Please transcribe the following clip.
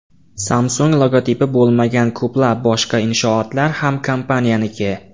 Samsung logotipi bo‘lmagan ko‘plab boshqa inshootlar ham kompaniyaniki.